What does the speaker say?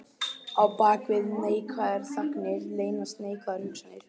Á bak við neikvæðar þagnir leynast neikvæðar hugsanir.